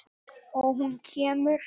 Og hún kemur.